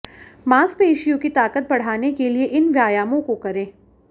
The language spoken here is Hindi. मांसपेशियों की ताकत बढ़ाने के लिए इन व्यायामों को करें